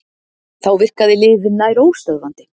Þá virkaði liðið nær óstöðvandi